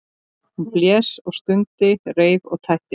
Hún blés og stundi, reif og tætti.